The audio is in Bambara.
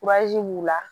b'u la